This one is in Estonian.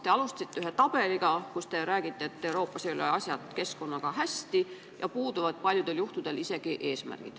Te alustasite tabeliga, kus te näitasite, et Euroopas ei ole keskkonnaasjad hästi ja paljudel juhtudel puuduvad isegi eesmärgid.